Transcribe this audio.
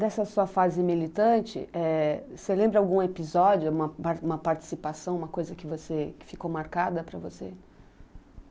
Dessa sua fase militante, eh, você lembra algum episódio, uma uma participação, uma coisa que você, que ficou marcada para você?